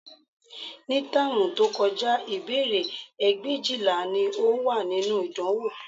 Ní táàmù tí ó kọjá, ìbéèrè ẹgbẹ̀éjìlá ni ó wà nínú ìdánwò